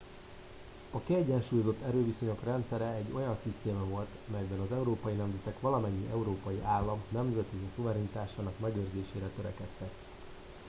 a kiegyensúlyozott erőviszonyok rendszere egy olyan szisztéma volt melyben az európai nemzetek valamennyi európai állam nemzeti szuverenitásának megőrzésére törekedtek